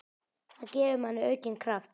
Það gefur manni aukinn kraft.